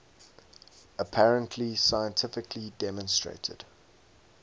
apparently scientifically demonstrated